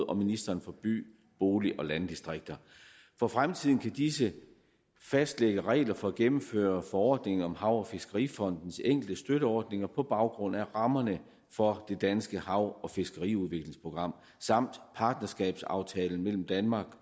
og ministeriet for by bolig og landdistrikter for fremtiden kan disse fastlægge regler for at gennemføre forordninger om hav og fiskerifondens enkelte støtteordninger på baggrund af rammerne for det danske hav og fiskeriudviklingsprogram samt partnerskabsaftalen mellem danmark